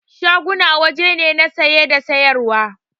Shaguna waje ne na saye da sayar wa